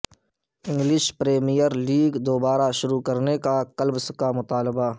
English Premier League دوبارہ شروع کرنے کلبس کا مطالبہ